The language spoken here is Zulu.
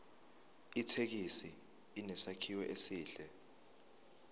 ithekisi inesakhiwo esihle